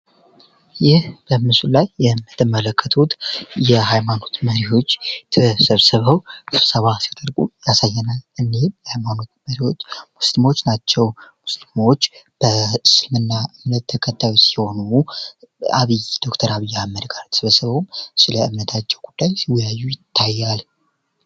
ይህ በምስሉ ላይ የምትመለከቱት የሃይማኖት መሪዎች ተሰብስበው ስብሰባ ሲያደርጉ ያሳያል ይህም ሙስሊሞች ናቸው ሙስሊሞች በእስልምና እምነት ተከታዮች ሲሆኑ ከዶክተር አብይ ጋር ተሰብስበው በእምነታቸው ጉዳይ ሲወያዩ ይታያል።